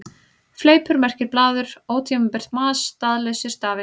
Fleipur merkir blaður, ótímabært mas, staðlausir stafir.